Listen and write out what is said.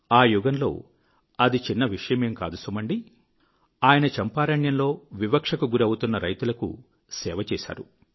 ఆ యుగంలో అది చిన్న విషయమేం కాదు సుమండీ ఆయన చంపారణ్యంలో వివక్షకు గురి అవుతున్న రైతులకు సేవ చేశారు